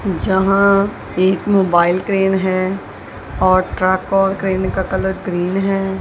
यहां एक mobile crane है और ट्रक और क्रेन का कलर ग्रीन है।